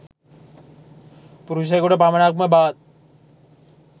පුරුෂයකුට පමණක් ම බවත්